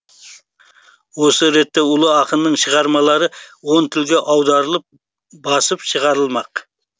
осы ретте ұлы ақынның шығармалары он тілге аударылып басып шығарылмақ